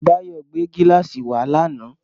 Báyọ̀ gbé gíláàsì wá lánàá.